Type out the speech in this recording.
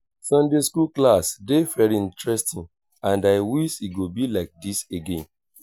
i wan go market preach the gospel tomorrow and you go follow me